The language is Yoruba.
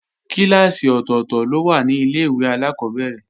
Kíláàsì ọ̀tọ̀tọ̀ ló wà ní Ilé-ìwé alákọ́bẹ̀rẹ̀